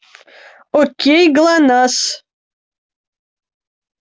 окей глонассс